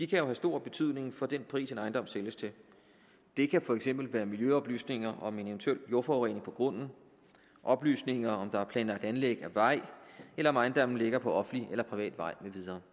kan jo have stor betydning for den pris som en ejendom sælges til det kan for eksempel være miljøoplysninger om en eventuel jordforurening på grunden oplysninger om at der er planlagt anlæg af vej eller om at ejendommen ligger på offentlig eller privat vej med videre